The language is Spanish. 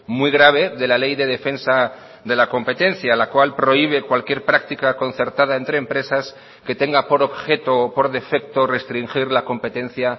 muy grave de la ley de defensa de la competencia la cual prohíbe cualquier práctica concertada entre empresas que tenga por objeto o por defecto restringir la competencia